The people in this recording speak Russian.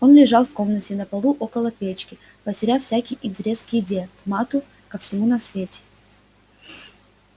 он лежал в комнате на полу около печки потеряв всякий интерес к еде к матту ко всему на свете